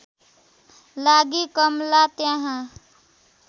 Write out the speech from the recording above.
लागि कमला त्यहाँ